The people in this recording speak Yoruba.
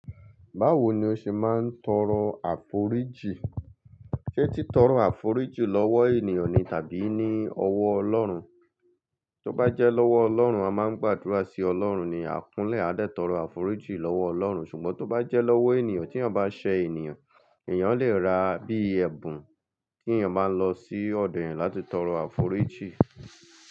Báwo ni o ṣe máa ń tọrọ àforíjì? Ṣé tí tọrọ àforíjì lọ́wọ́ ènìyàn ni tàbí ní ọwọ́ Ọlọ́run? Tí ó bá jẹ́ lọ́wọ́ Ọlọ́run, a máa ń gbàdúrà sí Ọlọ́run ni, a kúnlẹ̀ a dẹ̀ tọrọ àforíjì lọ́wọ́ Ọlọ́run. Ṣùgbọ́n tí ó bá jẹ́ lọ́wọ́ ènìyàn, tí ènìyàn bá ṣẹ ènìyàn, ènìyàn lè rà á bí i ẹ̀bùn kí ènìyàn bá lọ sí ọ̀dọ̀ ẹ̀yẹn láti tọrọ àforíjì.